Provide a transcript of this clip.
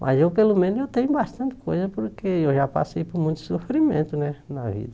Mas eu, pelo menos, eu tenho bastante coisa, porque eu já passei por muito sofrimento né na vida.